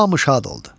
Hamı şad oldu.